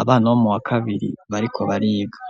abana bo mu wa kabiri bariko bariga.